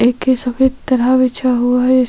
एक सफ़ेद तरह बिछा हुआ है।